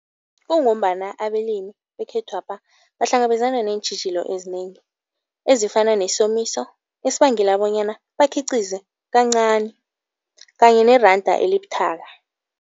Kungombana abalimi bekhethwapha bahlangabezana neentjhijilo ezinengi ezifana nesomiso esibangela bonyana bakhiqize kancani kanye neranda elibuthaka.